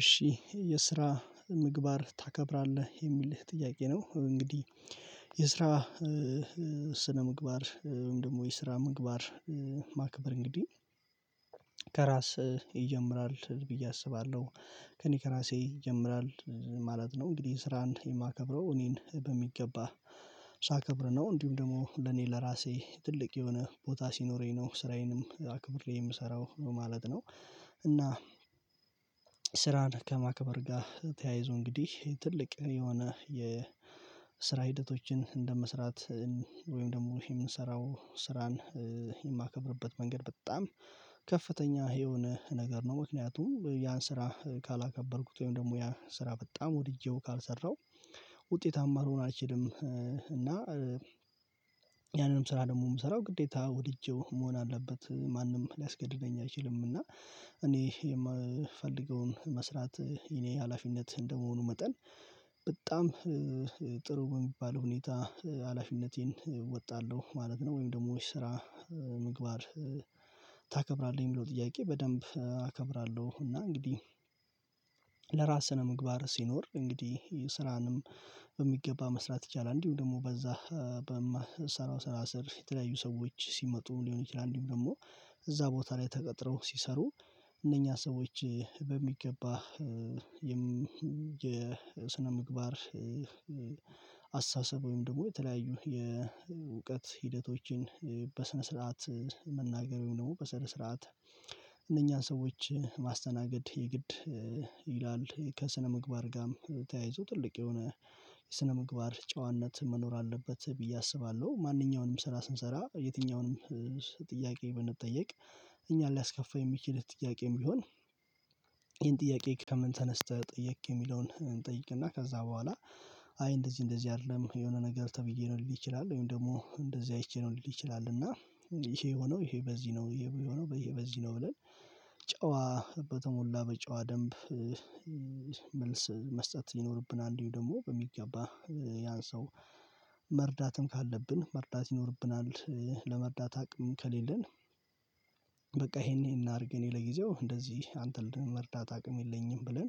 እሺ የስራ ምግባር ታከብራለህ? የሚልህ ጥያቄ ነው እንግዲህ የስራ ስነ ምግባር ወይም ደግሞ የስራ ምግባር ማክበር እንግዲህ ከራስ ይጀምራል ብዬ አስባለሁ። ከእኔ ከራሴ ይጀምራል ማለት ነው እንግዲህ ስራን የማከብረው እኔን በሚገባ ሳከብር ነው እንዲሁም ደግሞ ለኔ ለራሴ ትልቅ የሆነ ቦታ ሲኖረኝ ነው ስራዬንም አክብሬ የምሰራው ማለት ነው። እና ስራን ከማክበር ጋር ተያይዞ እንግዲህ ትልቅ የሆነ የ ስራ ሂደቶችን እንደመስራት ወይም ደግሞ የምንሰራው ስራን የማከብርበት መንገድ በጣም ከፍተኛ የሆነ ነገር ነው። ምክንያቱም ያን ስራ ካላከበርኩት ወይም ደግሞ ያ ስራ በጣም ወድጄው ካልሰራው ውጤታማ ልሆን አልችልም እና ያንንም ስራ ደግሞ የምሰራው ግዴታ ወድጄው መሆን አለበት ማንም ሊያስገድደኝ አይችልም እና እኔ የምፈልገውን መስራት የኔ ሀላፊነት እንደመሆኑ መጠን በጣም ጥሩ የሚባል ሁኔታ ሀላፊነቴን እወጣለሁ ማለት ነው። ወይም ደግሞ የስራ ምግባር ታከብራለህ? የሚለው ጥያቄ በደንብ አከብራለሁ። እና እንግዲህ ለራስህ ስነ ምግባር ሲኖር እንግዲህ ስራንም በሚገባ መስራት ይቻላል እንዲሁም ደግሞ በዛ በምሰራው ስራ ስር የተለያዩ ሰዎች ሲመጡ ሊሆን ይችላል ደግሞ እዛ ቦታ ላይ ተቀጥረው ሲሰሩ እነኛ ሰዎች በሚገባ የስነምግባር አስተሳሰብ ወይም ደግሞ የተለያዩ የእውቀት ሂደቶችን በስነ ስርዓት መናገር ወይም ደግሞ በስነ ስርዓት እነኛን ሰዎች ማስተናገድ የግድ ይላል። ከስነምግባር ጋርም ተያይዞ ትልቅ የሆነ የስነ ምግባር ጨዋነት መኖር አለበት ብዬ አስባለሁ። ማንኛውንም ስራ ስንሰራ የትኛውንም ጥያቄ ብንጠየቅ እኛን ሊያስከፋ የሚችል ጥያቄም ቢሆን ይሄን ጥያቄ ከምን ተነስተህ ጠየቅ የሚለውን እንጠይቅና ከዛ በኋላ አይ እንደዚህ እንደዚህ አይደለም የሆነ ነገር ተብዬ ነው ሊል ይችላል ወይም ደግሞ እንደዚህ አይቼ ነው ልል ይችላል እና ይሄ ሆኖ ይሄ በዚህ ነው ይሄ በዚህ ነው ብለን ጨዋ በተሞላ በጨዋ ደንብ መልስ መስጠት ሊኖርብን አንዱ ደግሞ በሚገባ ያን ሰው መርዳትም ካለብን መርዳት ይኖርብናል። ለመርዳት አቅም ከሌለን በቃ ይሄን እናድርግ እኔ ለጊዜው እንደዚህ አንተን ለመርዳት አቅም የለኝም ብለን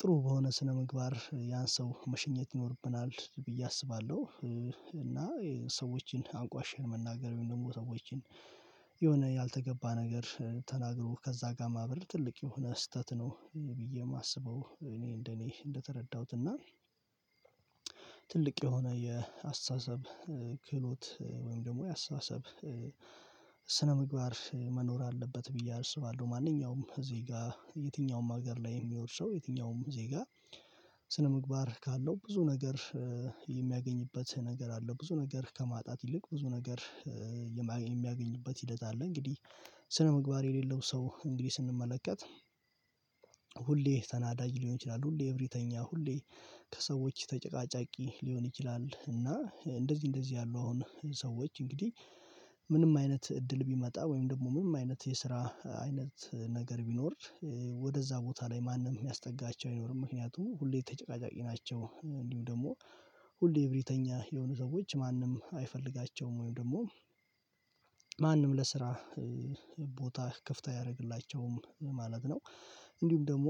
ጥሩ በሆነ ስነምግባር ያን ሰው መሸኘት ይኖርብናል ብዬ አስባለሁ። እና ሰዎችን አንቋሸን መናገር ወይም ደግሞ ሰዎችን የሆነ ያልተገባ ነገር ተናግሮ ከዛ ጋር ማበር ትልቅ የሆነ ስህተት ነው ብዬ የማስበው እኔ እንደኔ እንደተረዳሁት እና ትልቅ የሆነ የአስተሳሰብ ክህሎት ወይም ደግሞ የአስተሳሰብ ስነ ምግባር መኖር አለበት ብዬ አልሰባለሁ ማንኛውም እዚህ ጋር የትኛውም ሀገር ላይ ሰው የትኛውም ዜጋ ስነምግባር ካለው ብዙ ነገር የሚያገኝበት ነገር አለው ብዙ ነገር ከማጣት ይልቅ ብዙ ነገር የሚያገኝበት ሂደት አለ እንግዲህ ስነምግባር የሌለው ሰው እንግዲህ ስንመለከት ሁሌ ተናዳጅ ሊሆን ይችላል ሁሌ እብሪተኛ ሁሌ ከሰዎች ተጨቃጫቂ ሊሆን ይችላል እና እንደዚህ እንደዚህ ያሉ አሁን ሰዎች እንግዲህ ምንም አይነት እድል ቢመጣ ወይም ደግሞ ምንም አይነት የስራ አይነት ነገር ቢኖር ወደዛ ቦታ ላይ ማንም የሚያስጠጋቸው አይኖርም ምክንያቱም ሁሌ ተጨቃጫቂ ናቸው። እንዲሁ ደግሞ ሁሌ እብሪተኛ የሆኑ ሰዎች ማንም አይፈልጋቸውም ወይም ደግሞ ማንም ለስራ ቦታ ክፍት አያደርግላቸውም ማለት ነው። እንዲሁም ደግሞ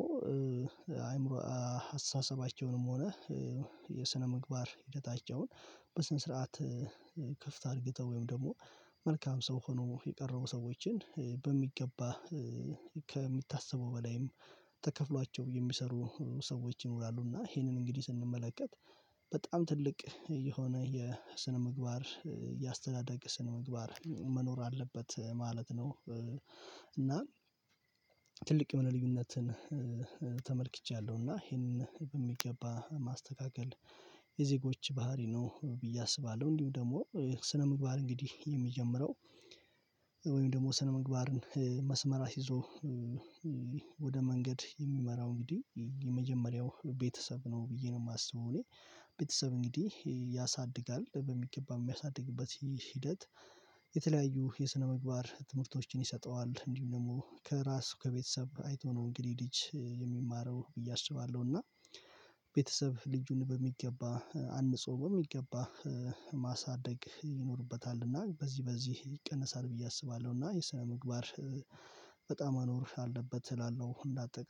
አይምሮ አስተሳሰባቸውንም ሆነ የስነ ምግባር ሂደታቸውን በስነ ስርዓት ክፍት አድርገው ወይም ደግሞ መልካም ሰው ሆኖ የቀረው ሰዎችን በሚገባ ከሚታሰበው በላይም ተከፍሏቸው የሚሰሩ ሰዎች ይኖራሉ እና ይሄንን እንግዲህ ስንመለከት በጣም ትልቅ የሆነ የስነ ምግባር የአስተዳደግ ስነ ምግባር መኖር አለበት ማለት ነው። እና ትልቅ ምን ልዩነትን ተመልክቻለሁ እና ይሄንን በሚገባ ማስተካከል የዜጎች ባህሪ ነው ብዬ አስባለሁ እንዲሁ ደግሞ ስነምግባር እንግዲህ የሚጀምረው ወይም ደግሞ ስነ ምግባርን መስመር አስይዞ ወደ መንገድ የሚመራው እንግዲህ የመጀመሪያው ቤተሰብ ነው ብዬ ነው የማስበው እኔ ቤተሰብ እንግዲህ ያሳድጋል በሚገባ የሚያሳድግበት ሂደት የተለያዩ የስነምግባር ትምህርቶችን ይሰጠዋል እንዲሁ ደግሞ ከራሱ ከቤተሰብ አይቶ ነው እንግዲህ ልጅ የሚማረው ብዬ አስባለሁ። እና ቤተሰብ ልጁን በሚገባ አንጾም በሚገባ ማሳደግ ይኖርበታል እና በዚህ በዚህ ይቀነሳል ብዬ አስባለሁ እና የስነምግባር በጣም መኖር አለበት እላለሁ። እንዳት